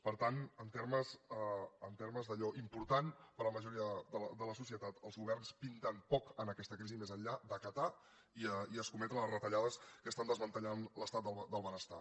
per tant en termes d’allò important per a la majoria de la societat els governs pinten poc en aquesta crisi més enllà d’acatar i escometre les retallades que estan desmantellant l’estat del benestar